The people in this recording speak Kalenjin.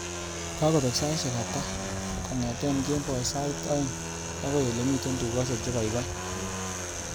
Kagobek saishek ata kongete kemboi sait aeng agoi olemiten tukaishek chegoigoi